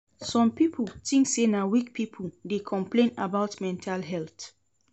Some pipo tink sey na weak pipo dey complain about mental health.